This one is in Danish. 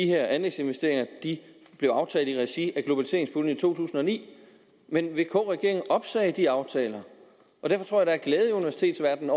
her anlægsinvesteringer blev aftalt i regi af globaliseringspuljen i to tusind og ni men vk regeringen opsagde de aftaler og derfor der i universitetsverdenen